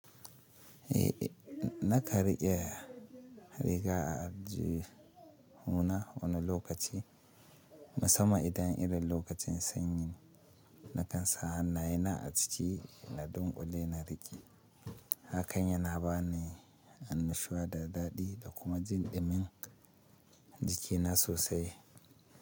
Eh, nakan riƙe riga a aljihu na wani lokaci, musamman idan irin lokacin sanyi. Nakan sa hannayena a ciki da dunƙule na riƙe. Hakan yana bani annashuwa da daɗi da kuma jin ɗumin jikina sosai.